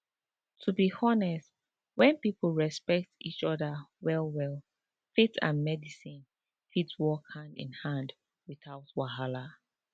to be honest when people respect each other wellwell faith and medicine fit work hand in hand without wahala